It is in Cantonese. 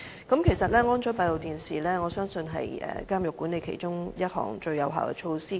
我相信安裝閉路電視是監獄管理中，最有效措施之一。